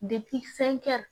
fɛnkɛ